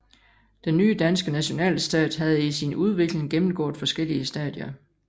Den nye danske nationalstat havde i sin udvikling gennemgået forskellige stadier